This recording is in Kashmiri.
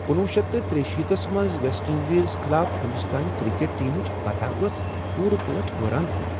کنُوُہ شیٚتھ تہٕ ترٛیہِ شیٖتَس منٛز ویسٹ اِندیزس خلاف ہنٛدوستٲنۍ کرکٹ ٹیمٕچ فتح ٲس حیران کُن۔